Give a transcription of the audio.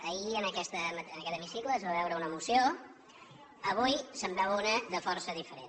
ahir en aquest hemicicle es va veure una moció avui se’n veu una de força diferent